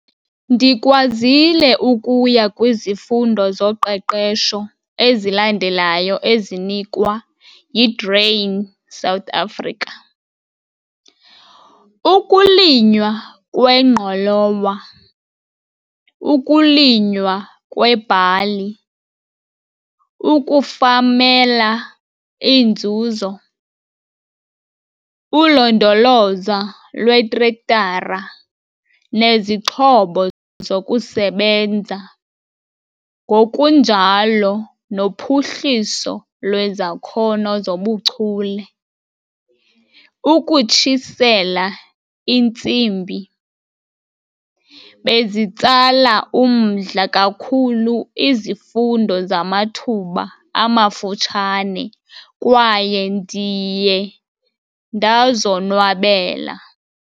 Ndikwazile ukuya kwizifundo zoqeqesho ezilandelayo ezinikwa yiGrain South Africa- Ukulinywa kweNgqolowa, Ukulinywa kweBhali, UkuFamela iNzuzo, Ulondoloza lweTrektara neziXhobo zokuSebenza, ngokunjalo noPhuhliso lweZakhono zobuChule- Ukutshisela iNtsimbi. Bezitsala umdla kakhulu izifundo zamathuba amafutshane kwaye ndiye ndazonwabela.